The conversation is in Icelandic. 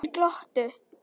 Þeir glottu.